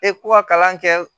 Ee ko ka kalan kɛ